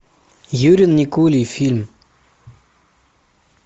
юрий никулин фильм